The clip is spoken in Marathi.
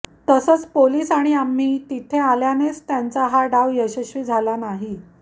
तसंच पोलीस आणि आम्ही तिथे आल्यानेच त्यांचा हा डाव यशस्वी झाला नाही